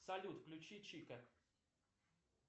салют включи чика